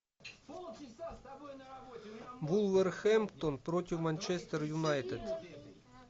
вулверхэмптон против манчестер юнайтед